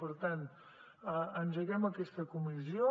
per tant engeguem aquesta comissió